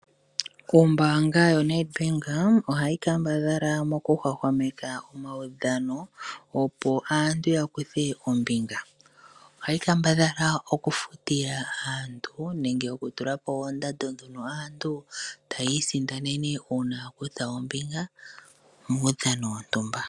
Ombaanga yoNedbank ohayi kambadhala mokuhwahwameka omawudhano opo aantu yakuthe ombinga. Ohayi kambadhala okufutila aantu nenge okutula po oondando dhono aantu taya isindanene uuna akutha ombinga muudhano wontumba.